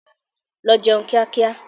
Lọ jẹun kíá kíá!